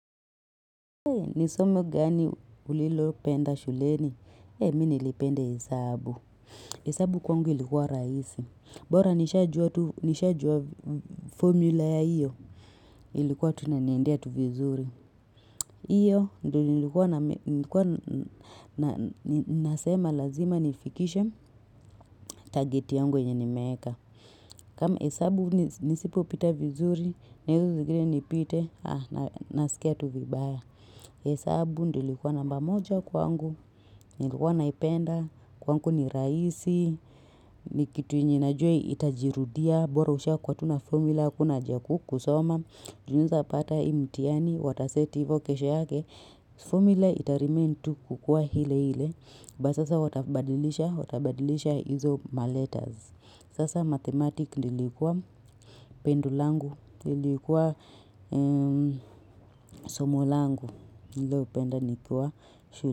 Hei nisomo gani ulilo penda shuleni. Hei minilipenda hesabu. Hesabu kwangu ilikuwa raisi. Bora nishajua formula ya iyo ilikuwa tunaniendia tu vizuri. Iyo ndo nilikuwa na nasema lazima nifikishe target yangu yenye ni meeka. Kama hesabu nisipo pita vizuri, nilikuwa nipite na nasikia tu vibaya. Hesabu ndio ilikuwa namba moja kwangu, nilikuwa naipenda, kwangu ni raisi, ni kitu yenye najua itajirudia, bora usha kuwa tuna formula akuna hajaku kusoma, juniza pata imtiani, wataseti hivyo kesho yake, formula itarimentu kukua hile hile, ba sasa watabadilisha, watabadilisha hizo maletaz. Sasa mathematics nilikuwa pendolangu, nilikuwa somolangu, nilipenda nikiwa shule.